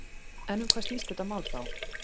En um hvað snýst þetta mál þá?